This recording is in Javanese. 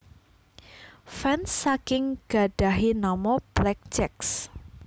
Fans saking gadhahi nama Blackjacks